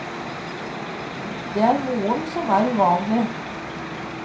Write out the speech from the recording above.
Det er moren som er uvanlig.